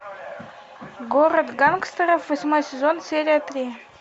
город гангстеров восьмой сезон серия три